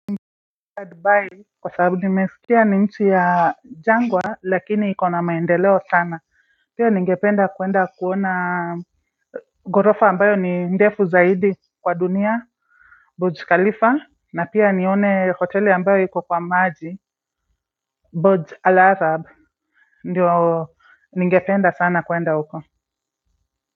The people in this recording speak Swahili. Dubai kwa sababu nimesikia ni nchi ya jangwa lakini iko na maendeleo sana pia ningependa kuenda kuona ghorofa ambayo ni ndefu zaidi kwa dunia Burj Khalifa na pia nione hoteli ambayo iko kwa maaji Burj al-Azhab ndio ningependa sana kuenda huko.